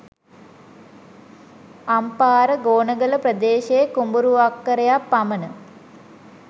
අම්පාර ගෝනගල ප්‍රදේශයේ කුඹුරු අක්කරයක් පමණ